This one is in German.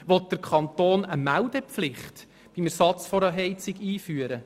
Will der Kanton beim Ersatz einer Heizung eine Meldepflicht einführen?